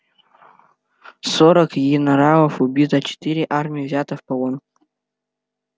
сорок енаралов убито четыре армии взято в полон